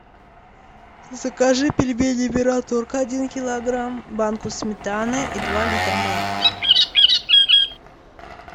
закажи пельмени мираторг один килограмм банку сметаны и два литра молока